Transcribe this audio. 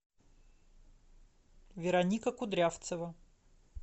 вероника кудрявцева